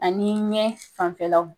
Ani ɲɛ fanfɛlaw